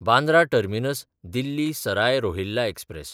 Bandra टर्मिनस–दिल्ली Sarai Rohilla express